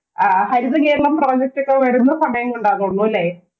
ആഹ് Harithakeralam project ഒക്കെ വരുന്ന സമയം കൊണ്ടാണെന്ന് തോന്നുന്നു അല്ലേ?